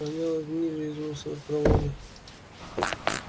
воняло гнилью из мусоропровода